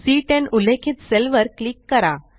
C10 उल्लेखित cell वर click करा